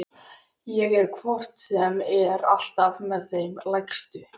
Ég er hvort sem er alltaf með þeim lægstu.